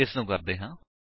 ਇਸਨੂੰ ਕਰਦੇ ਹਾਂ